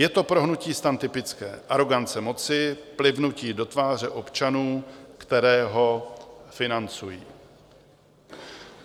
Je to pro hnutí STAN typické: arogance moci, plivnutí do tváře občanů, které ho financují.